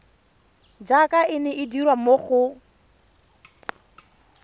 jaaka e dirwa mo go